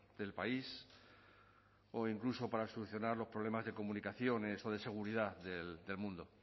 del país o incluso para solucionar los problemas de comunicaciones o de seguridad del mundo